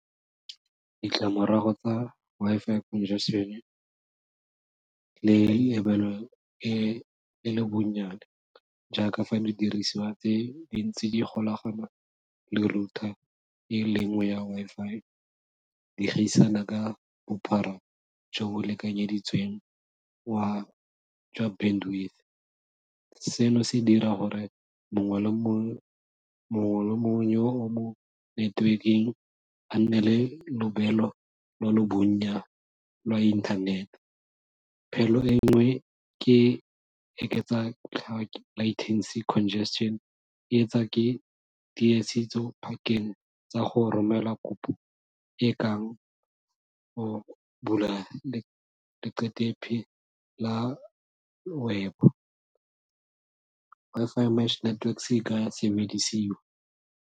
Ditlamorago tsa Wi-Fi congestion le lebelo e le bonnyane jaaka fa le dirisiwa ke dintsi di golagano le router e lengwe ya Wi-Fi di gaisana ka bophara jo bo lekanyeditsweng wa jwa , se no se dira gore mongwe le mongwe yo o mo netwekeng a nne le lobelo lo lo bonya lwa internet, phelo e nngwe ke eketsa congestion e etsa ke tsa go romela kopo e kang go bula la web, Wi-Fi network .